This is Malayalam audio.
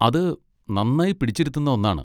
അത് നന്നായി പിടിച്ചിരുത്തുന്ന ഒന്നാണ്.